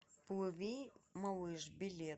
плыви малыш билет